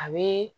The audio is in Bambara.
A bɛ